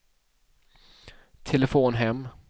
telefon hem